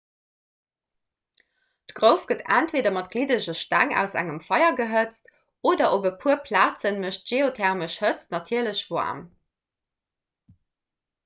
d'grouf gëtt entweeder mat gliddege steng aus engem feier gehëtzt oder op e puer plaze mécht geothermesch hëtzt natierlech waarm